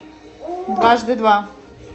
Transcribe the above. дважды два